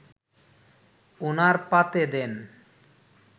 ওনার পাতে দেন